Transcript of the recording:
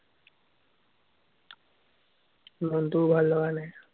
মনটোও ভাল লগা নায়।